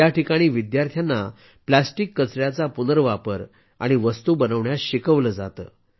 याठिकाणी विद्यार्थ्यांना प्लास्टिक कचर्याचा पुनर्वापर आणि वस्तू बनवण्यास शिकवले जाते